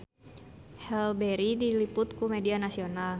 Halle Berry diliput ku media nasional